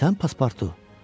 Sən sən Paspartu?